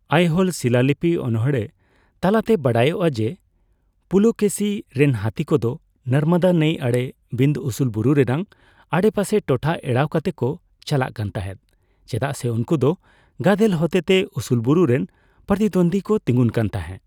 ᱟᱭᱦᱳᱞ ᱥᱤᱞᱟᱞᱤᱯᱤ ᱚᱱᱚᱬᱦᱮ ᱛᱟᱞᱟᱛᱮ ᱵᱟᱰᱟᱭᱚᱜ-ᱟ ᱡᱮ ᱯᱩᱞᱚᱠᱮᱥᱤ ᱨᱮᱱ ᱦᱟᱛᱤ ᱠᱚ ᱫᱚ ᱱᱚᱨᱢᱚᱫᱟ ᱱᱟᱹᱭ ᱟᱲᱮ ᱵᱤᱱᱫᱷᱚ ᱩᱥᱩᱞ ᱵᱩᱨᱩ ᱨᱮᱱᱟᱜ ᱟᱰᱮᱯᱟᱥᱮ ᱴᱚᱴᱷᱟ ᱮᱲᱟᱣ ᱠᱟᱛᱮᱫ ᱠᱚ ᱪᱟᱞᱟᱜ ᱠᱟᱱ ᱛᱟᱸᱦᱮᱫ, ᱪᱮᱫᱟᱜ ᱥᱮ ''ᱩᱱᱠᱩ ᱫᱚ ᱜᱟᱫᱮᱞ ᱦᱚᱛᱮᱛᱮ ᱩᱥᱩᱞ ᱵᱩᱨᱩ ᱨᱮᱱ ᱯᱨᱚᱛᱤᱫᱚᱱᱫᱤ ᱠᱚ ᱛᱤᱸᱜᱩᱱ ᱠᱟᱱ ᱛᱟᱸᱦᱮ ᱾